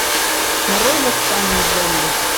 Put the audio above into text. нарой восстание зомби